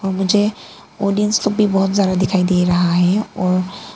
और मुझे ऑडियंस लोग भी बहोत ज्यादा दिखाई दे रहा है और--